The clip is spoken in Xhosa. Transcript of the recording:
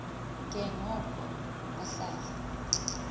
ke ngoko bahlale